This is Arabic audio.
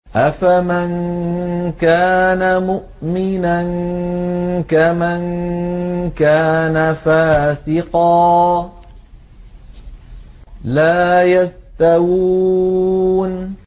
أَفَمَن كَانَ مُؤْمِنًا كَمَن كَانَ فَاسِقًا ۚ لَّا يَسْتَوُونَ